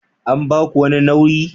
An ba ku wani nauyi?